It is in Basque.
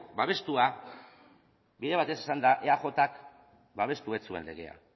babestua bide batez esanda eajk babestu ez zuen legea